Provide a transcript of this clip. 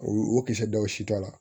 O o kisɛ dɔw si t'a la